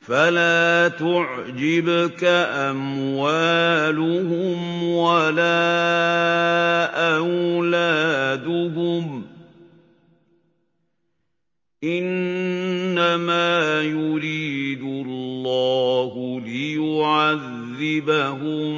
فَلَا تُعْجِبْكَ أَمْوَالُهُمْ وَلَا أَوْلَادُهُمْ ۚ إِنَّمَا يُرِيدُ اللَّهُ لِيُعَذِّبَهُم